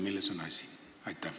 Milles on asi?